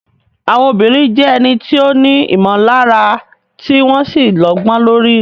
Àwọn obìnrin jẹ́ ẹni tí ó ní ìmọ̀lára tí wọ́n sì lọ́gbọ́n lórí.